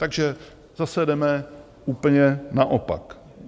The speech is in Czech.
Takže zase jdeme úplně naopak.